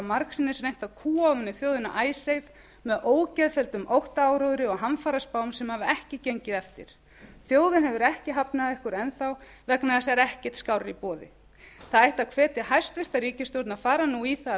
margsinnis reynt að kúga ofan í þjóðina icesave með ógeðfelldum óttaáróðri og hamfaraspám sem hafa ekki gengið eftir þjóðin hefur ekki hafnað ykkur enn þá vegna þess að það er ekkert skárra í boði það ætti að hvetja hæstvirt ríkisstjórn að fara nú í það af